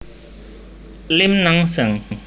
Lim Nang Seng